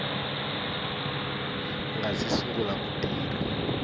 nga si sungula ku tirha